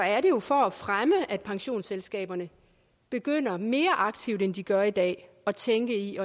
er det jo for at fremme at pensionsselskaberne begynder mere aktivt end de gør i dag at tænke i